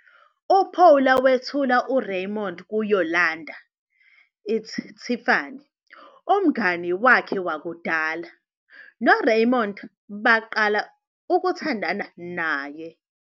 UPaula wethula uRaymond kuYolanda, Itz Tiffany, umngani wakhe wakudala, noRaymond baqala ukuthandana naye.